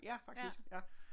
Ja faktisk ja